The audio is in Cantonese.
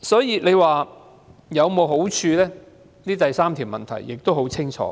由此可見，第三個問題的答案很清楚。